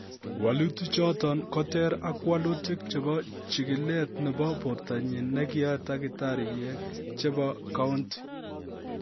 Wolutichoton koter ak wolutik chebo chigilet nebo bortanyin nekiyoe tagitariek chebo Kounti.